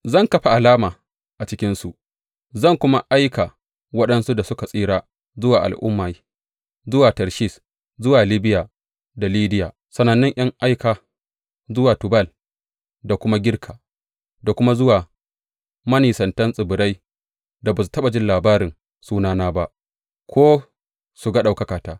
Zan kafa alama a cikinsu, zan kuma aika waɗansu da suka tsira zuwa al’ummai, zuwa Tarshish, zuwa Libiya da Lidiya sanannun ’yan aika, zuwa Tubal da kuma Girka, da kuma zuwa manisantan tsibirai da ba su taɓa jin labarin sunana ba ko su ga ɗaukakata.